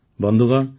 ବନ୍ଧୁଗଣ